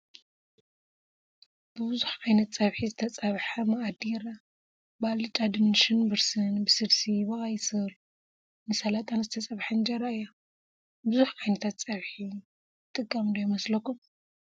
ብብዙሕ ዓይነት ፀብሒ ዝተፀብሐ ማኣዲ ይረአ፡፡ ብኣልጫ ድንሽን ብርስን፣ ብስልሲ፣ ብቀይ ስር ን ሰላጣን ዝተፀበሐት እንጀራ እያ፡፡ ብዙሕ ዓ/ት ፀብሒ ይጠቅም ዶ ይመስለኩም?